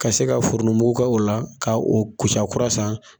Ka se ka foronto mugu k'o la ka kusa kura san.